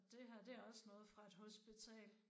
Det her det er også noget fra et hospital